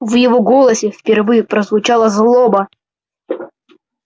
в его голосе впервые прозвучала злоба